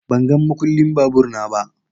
Ban gan makullin babur na ba.